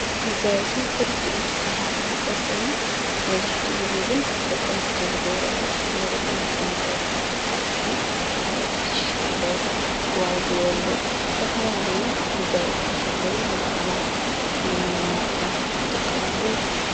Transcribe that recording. መጋየፂ ብክልቲኦም ፆታታት ዝግበር ኮይኑ መብዛሕቲኡ ግዜ ግን ደቂ ኣንስትዮ ዝገብሮኦ እዩ፡፡ ካብ ናይ ደቂ ኣንስትዮ መጋየፂታት ዝበሃል ካዓ ኮትሻ ኣሎ ገዋግው ኣሎ ዝተፈላለዩ መጋየፂታት ኣለዉ፡፡ ንበዓላት ንመርዓ ይጥቀማሉ፡፡